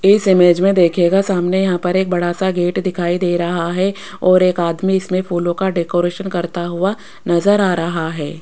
इस इमेज में देखियेगा सामने यहां पर एक बड़ा सा गेट दिखाई दे रहा है और एक आदमी इसमें फूलों का डेकोरेशन करता हुआ नजर आ रहा है।